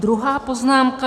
Druhá poznámka.